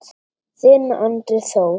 Þinn Andri Þór.